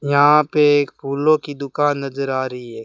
यहां पे एक फूलों की दुकान नज़र आ रही है।